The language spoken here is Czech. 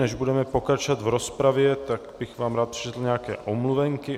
Než budeme pokračovat v rozpravě, tak bych vám rád přečetl nějaké omluvenky.